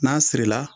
N'a sirila